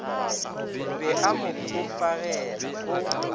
be a mo hufagela o